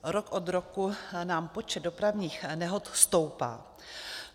Rok od roku nám počet dopravních nehod stoupá.